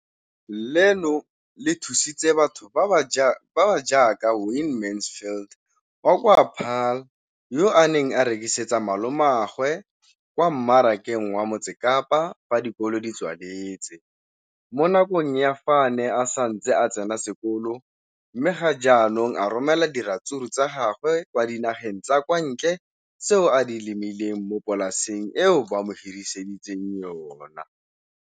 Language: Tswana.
leno le thusitse batho ba ba jaaka Wayne Mansfield 33 wa kwa Paarl, yo a neng a rekisetsa malomagwe kwa Marakeng wa Motsekapa fa dikolo di tswaletse, mo nakong ya fa a ne a santse a tsena sekolo, mme ga jaanong o romela diratsuru tsa gagwe kwa dinageng tsa kwa ntle tseo a di lemileng mo polaseng eo ba mo hiriseditseng yona.